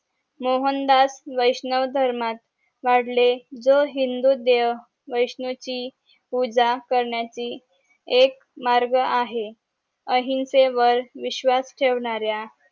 मोहनदास वैष्णव धर्मात वादळे जो हिंदू देव वैष्णवची पूजा करण्याची एक मार्ग आहे अहिंसेवर विश्वास ठेवणाऱ्या